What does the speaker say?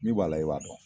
Min b'a la i b'a dɔn